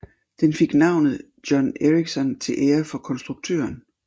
Den fik navnet John Ericsson til ære for konstruktøren